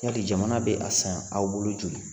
Yali jamana bɛ a san aw bolo joli